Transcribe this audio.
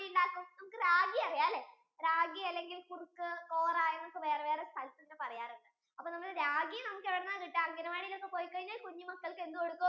നമ്മൾക്ക് ragi അറിയാം അല്ലെ ragi അല്ലെങ്കിൽ കുറുക്ക് കോറ പറയാറുണ്ട് അപ്പൊ ragi നമ്മൾക്ക് എവിടുന്നാ കിട്ടുവാ അംഗൻവാടിയിൽ ഒക്കെ പോയി കഴിഞ്ഞാൽ കുഞ്ഞിമക്കൾക്ക് എന്ത് കൊടുക്കും